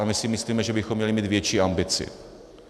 A my si myslíme, že bychom měli mít větší ambici.